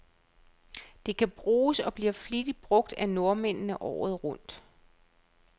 Det kan bruges, og bliver flittigt brug af nordmændene, året rundt.